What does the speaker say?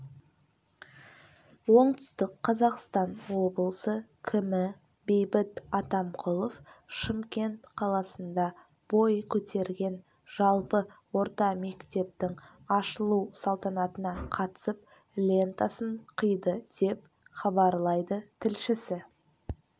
оңтүстік қазақстан облысы кімі бейбіт атамқұлов шымкент қаласында бой көтерген жалпы орта мектептің ашылу салтанатына қатысып лентасын қиды деп хабарлайды тілшісі